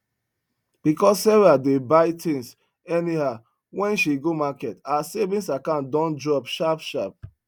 because sarah dey buy things anyhow when she go market her savings account don drop sharp sharp